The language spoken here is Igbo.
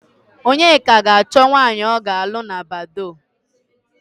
Onyeka ga-achọ nwạanyị ọ ga-alụ na Badoo.